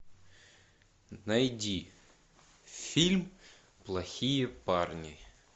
найди фильм плохие парни